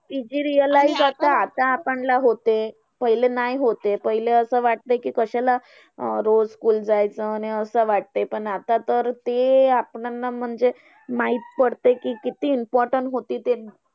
ती जी real life आता आपल्यांना होते. पहिले नाही होते, पहिले असं वाटतं कि कशाला रोज school जायचं? अन आणि असं वाटते. पण आता तर ते आपल्याला म्हणजे माहित पडते, कि किती important होती ते.